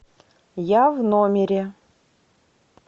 я в номере